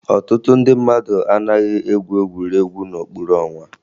Ọtụtụ ndị mmadụ anaghịzị egwu egwuregwu n'okpuru ọnwa